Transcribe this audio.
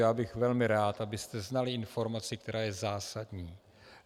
Já bych velmi rád, abyste znali informaci, která je zásadní.